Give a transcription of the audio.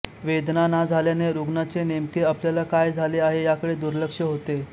वेदना ना झाल्याने रुग्णाचे नेमके आपल्याला काय झाले आहे याकडे दुर्लक्ष होते